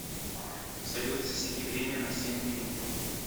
салют засеки время на семь минут